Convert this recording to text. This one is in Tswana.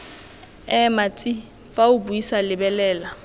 ema tsi fa o buisalebelela